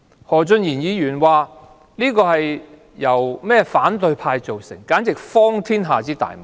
何俊賢議員說，這是由反對派造成，這簡直是荒天下之大謬。